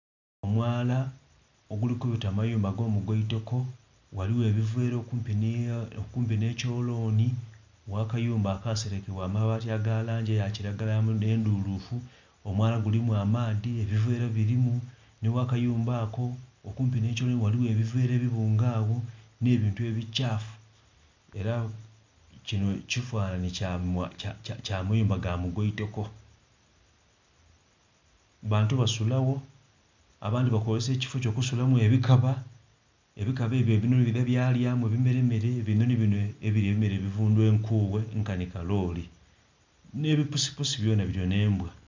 Omwala oguli kubita mumayumba agomugwaitoko ghaligho ebivera okumpi nekyoloni wakayumba akaserekebwa n'amabaati agalangi eyakiragala endhulufu, omwala gulimu amaadhi ebivera birimu nighakayumba ako. Okumpi n'ekyoloni ghaligho ebivera ebibunge agho n'ebintu ebikyafu era kino kifanhanhi kyamayumba gamugwaitoko, bantu basuragho abandhi bakozesa ekifoo ekyo okusulamu ebikaba, ebikaba ebyo ebinoni bidha byalyamu ebimere ebinoni bino ebilya ebimere ebivundhu enkoghe nkani kalooli n'ebipusupusi byona bilya n'embwa.